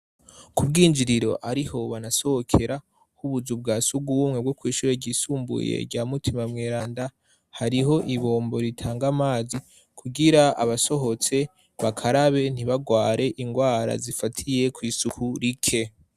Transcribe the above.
Ku bwinjiriro ariho banasohokera h'ubuzu bwa sugu wumwe bwo kw'ishuye ryisumbuye rya mutima mweranda hariho ibombo ritanga amazi kugira abasohotse bakarabe ntibagware ingwara zifatiye kw'isuku rike.